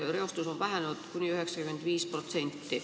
Reostus on vähenenud kuni 95%.